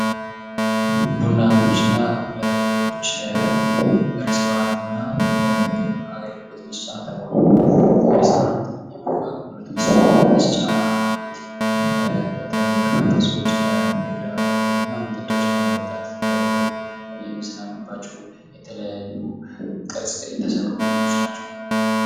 ቡና ቤቶችና መጠጥ ቤቶች ሬስቶራንትና የምግብ አገልግሎት መስጫ ተቋማት። የሬስቶራንትና የቡና መጠጫ ቤት በተለይ በርካታ ሰዎች ምግብ ለመመገብ እና መጠጥ ለመጠጣት ገብተው የሚዝናኑባቸው የተለያዩ ቅርጽ የተሰሩ ቤቶች ናቸው።